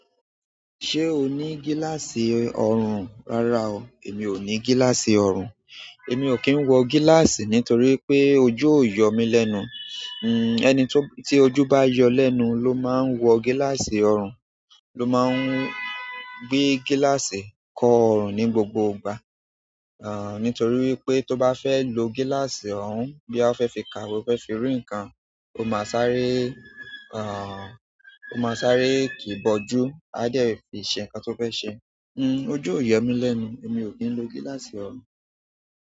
Ṣé o ní gíláàsì ọrùn? Rárá o, èmi ò ní gíláàsì ọrùn. Èmi ò kí ń wọ gíláàsì nítorí pé ojú o yọ̀ mí lẹ́nu. Ènì tí ojú bá yọ lẹ́nu ló máa ń wọ gíláàsì ọrùn, ló máa ń gbé gíláàsì kọ ọrùn ní gbogbo ìgbà. Àn, nítorí pé tó bá fẹ́ lo gíláàsì ọun, bí a fẹ́ fi ka ìwé, àbí o fẹ́ fi rí ǹkan, ó máa sáré, àn, ó máa sáré kì í bọ jú, a dẹ̀ fi ṣe ǹkan tó fẹ́ ṣe. Ǹ, ojú yọ̀ mí lẹ́nu, èmi ò kí ń lo gíláàsì ọrùn.